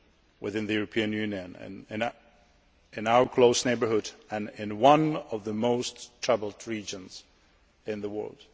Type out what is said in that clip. within the European Union, in our close neighbourhood and in one of the most troubled regions in the world.